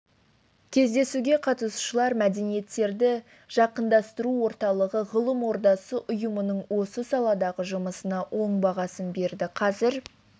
кездесуге қатысушылар мәдениеттерді жақындастыру орталығы ғылым ордасы ұйымының осы саладағы жұмысына оң бағасын берді қазір